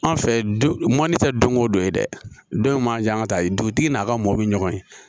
An fɛ du man di tɛ don ko don ye dɛ don in manjan ka taa dugutigi n'a ka mɔbili ɲɔgɔn ye